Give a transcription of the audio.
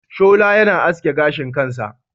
Shola yana aske gashin kansa.